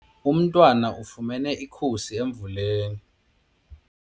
Umntwana ufumene ikhusi emvuleni.